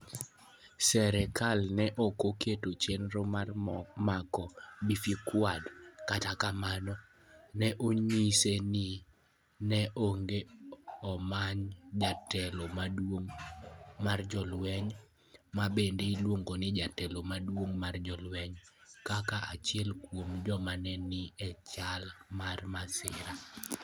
Sirkal ne ok oketo chenro mar mako Befeqadu, kata kamano, ne onyise ni ne onego omany jatelo maduong ' mar jolweny (ma bende iluongo ni jatelo maduong ' mar jolweny) kaka achiel kuom joma ne ni e chal mar masira.